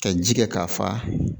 Ka ji kɛ k'a fa